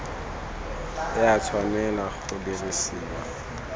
e a tshwanela go dirisiwa